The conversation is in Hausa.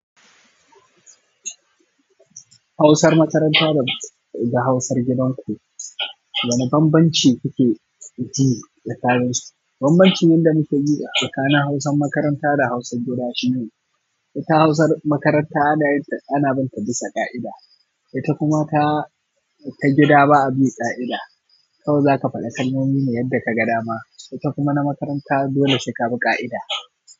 Hausar makaranta da, da hausar gidan ku, wane bambanci kuke ji tsakanin su? Bambancin da muke ji tsakanin hausan makaranta da hausan gida shine, ita hausar makaranta ana, ana bin ta bisa ƙa'ida, ita kuma ta, ta gida ba a bi ƙa'ida. Kawai za ka faɗi kalmomi ne yadda ka ga dama, ita kuma na makaranta dole sai ka bi ƙa'ida.